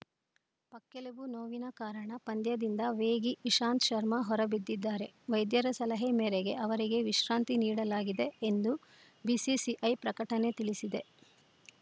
ಪಕ್ಕೆಲುಬು ನೋವಿನ ಕಾರಣ ಪಂದ್ಯದಿಂದ ವೇಗಿ ಇಶಾಂತ್‌ ಶರ್ಮಾ ಹೊರಬಿದ್ದಿದ್ದಾರೆ ವೈದ್ಯರ ಸಲಹೆ ಮೇರೆಗೆ ಅವರಿಗೆ ವಿಶ್ರಾಂತಿ ನೀಡಲಾಗಿದೆ ಎಂದು ಬಿಸಿಸಿಐ ಪ್ರಕಟಣೆ ತಿಳಿಸಿದೆ